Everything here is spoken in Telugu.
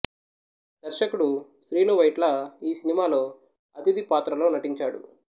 దర్శకుడు శ్రీను వైట్ల ఈ సినిమాలో అతిథి పాత్రలో నటించాడు